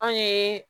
Anw ye